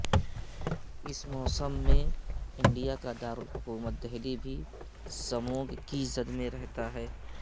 اس موسم مین انڈیا کا دارالحکومت دہلی بھی سموگ کی زد میں رہتا ہے